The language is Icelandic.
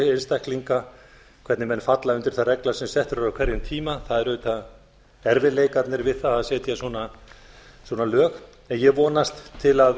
einstaklinga hvernig menn falla undir þær reglur sem settar eru á hverjum tíma það er auðvitað erfiðleikarnir við það að setja svona lög ég vonast til að